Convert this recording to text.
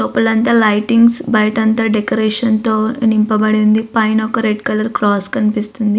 లోపలంతా లైటింగ్స్ బయట అంత డెకరేషన్ తో నింపబడి ఉంది. పైన ఒక రెడ్ కలర్ క్రాస్ కనిపిస్తుంది.